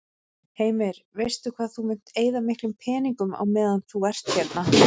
Heimir: Veistu hvað þú munt eyða miklum peningum á meðan þú ert hérna?